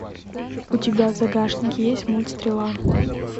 у тебя в загашнике есть мульт стрела